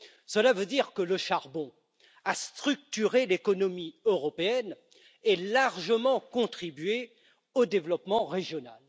Cela veut dire que le charbon a structuré l'économie européenne et a largement contribué au développement régional.